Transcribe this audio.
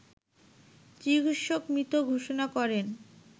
চিকিৎসক মৃত ঘোষণা করেন